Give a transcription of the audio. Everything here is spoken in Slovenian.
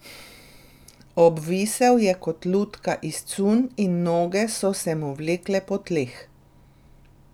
Obvisel je kot lutka iz cunj in noge so se mu vlekle po tleh.